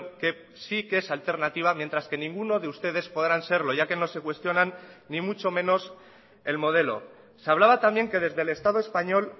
que sí que es alternativa mientras que ninguno de ustedes podrán serlo ya que no se cuestionan ni mucho menos el modelo se hablaba también que desde el estado español